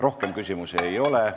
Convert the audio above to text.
Rohkem küsimusi ei ole.